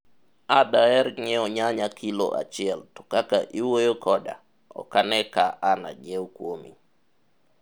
a daher nyiewo nyanya kilo achiel to kaka iwuoyo koda, okane ka an anyiew kuomi